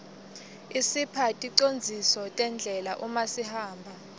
isipha ticondziso terdlela umasihamba